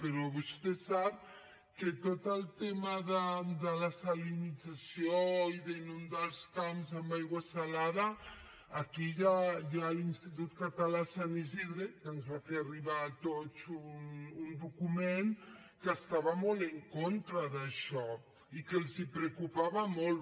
però vostè sap que tot el tema de la salinització i d’inundar els camps amb aigua salada aquí hi ha l’institut català sant isidre que ens va fer arribar a tots un document que estava molt en contra d’això i que els preocupava molt